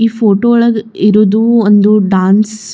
ಈ ಫೋಟೋ ಒಳಗ್ ಇರೋದು ಒಂದು ಡ್ಯಾನ್ಸ್ .